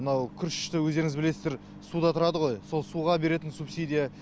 мынау күрішті өздеріңіз білесіздер суда тұрады ғой сол суға беретін субсидия